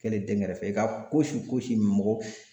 Kɛlen dɛnkɛrɛfɛ ye i ka fosi fosi mɔgɔ